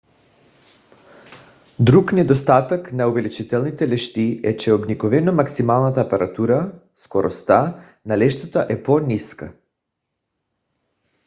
друг недостатък на увеличителните лещи е че обикновено максималната апертура скоростта на лещата е по-ниска